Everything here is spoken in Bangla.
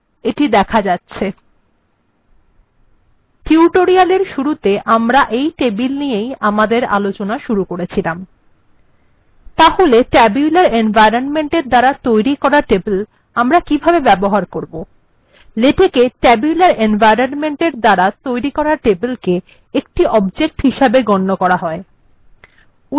এটি দেখা যাচ্ছে টিউটোরিয়াল্এর শুরুতে আমরা এই টেবিল নিয়েই আমাদের আলোচনা শুরু করেছিলাম তাহলে tabular এনভয়রনমেন্ট্এর দ্বারা তৈরী করা টেবিল আমরা কিভাবে ব্যবহার করব লেটেক্ tabular এনভয়রনমেন্ট্এর দ্বারা তৈরী করা টেবিলকে একটি object হিসাবে গন্য করে